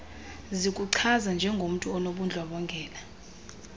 zikuchaza njengomntu onobundlobongela